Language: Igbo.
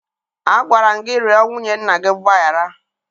Agwara m gị rịọ nwunye nna gị mgbaghara!